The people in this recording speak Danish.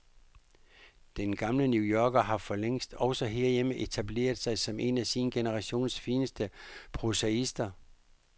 Den gamle new yorker har forlængst, også her hjemme, etableret sig som en af sin generations fineste prosaister.